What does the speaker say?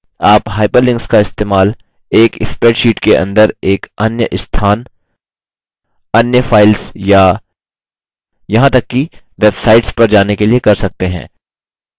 आप hyperlinks का इस्तेमाल